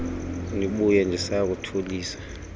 ndibuye ndisaya kuthulisa